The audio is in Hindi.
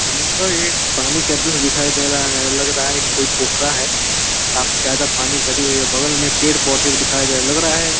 यह एक पानी का दृश्य दिखाई दे रहा है। लग रहा है कि कोई पोखरा है। काफी ज्यादा पानी भारी हुई है। बगल में पेड़ पौधे भी दिखाई दे रहा है। लग रहा है --